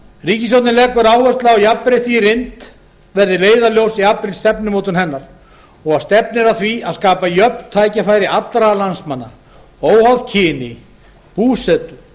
ríkisstjórnin leggur áherslu á að jafnrétti í reynd verði leiðarljós í allri stefnumótun hennar og stefnir að því að skapa jöfn tækifæri allra landsmanna óháð kyni búsetu